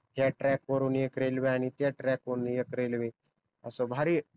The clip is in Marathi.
ह्या ट्रॅक वरून एक रेलवे आणि त्या ट्रॅक वरून एक रेलवे अस भारी